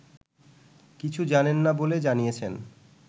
কিছু জানেন না বলে জানিয়েছেন